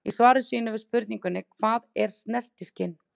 Í svari sínu við spurningunni Hvað er snertiskyn?